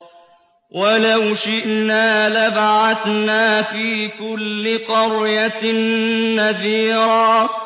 وَلَوْ شِئْنَا لَبَعَثْنَا فِي كُلِّ قَرْيَةٍ نَّذِيرًا